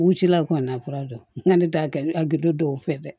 U cila u ka na fura dɔ n ka ne t'a kɛ a gindo dɔw fɛ dɛ